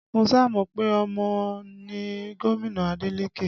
Mo sá mọ pe ọmọ ni gomina Adeleke